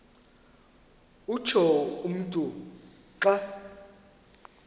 utsho umntu xa